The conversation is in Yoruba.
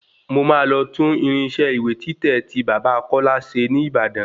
Mo máa lọ tún irinṣẹ́ ìwé títẹ̀ tí bàbá kọ́lá ṣe ní Ìbàdàn